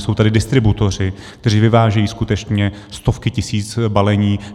Jsou tady distributoři, kteří vyvážejí skutečně stovky tisíc balení.